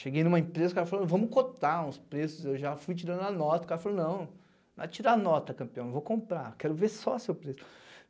Cheguei em uma empresa, o cara falou, vamos cotar uns preços, eu já fui tirando a nota, o cara falou, não, vai tirar a nota, campeão, eu vou comprar, quero ver só o seu preço.